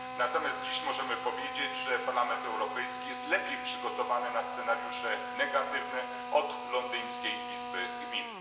Natomiast dziś możemy powiedzieć, że Parlament Europejski jest lepiej przygotowany na scenariusze negatywne od londyńskiej Izby Gmin.